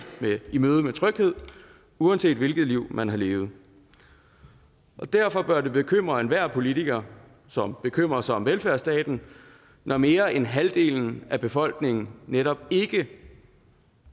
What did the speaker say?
møde med tryghed uanset hvilket liv man har levet og derfor bør det bekymre enhver politiker som bekymrer sig om velfærdsstaten når mere end halvdelen af befolkningen netop ikke